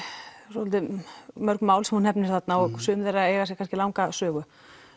svolítið mörg mál sem þú nefnir þarna og sum þeirra eiga sér kannski langa sögu